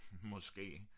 Måske